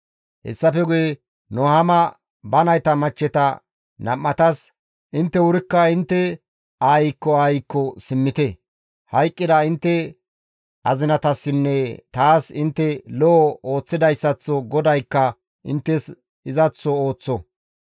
Hessafe guye Nuhaama ba nayta machcheta nam7atas, «Intte wurikka intte aayikko aayikko simmite; hayqqida intte azinatassinne taas intte lo7o ooththidayssaththo GODAYKKA inttes izaththo ooththo.